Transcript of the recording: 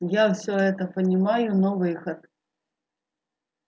я всё это понимаю но выход